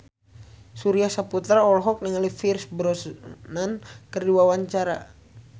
Surya Saputra olohok ningali Pierce Brosnan keur diwawancara